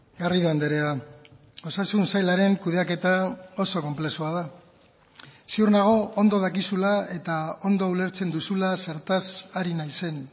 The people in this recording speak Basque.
garrido andrea osasun sailaren kudeaketa oso konplexua da ziur nago ondo dakizula eta ondo ulertzen duzula zertaz ari naizen